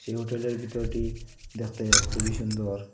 যে হোটেলের ভিতরটি দেখতে খুবই সুন্দর।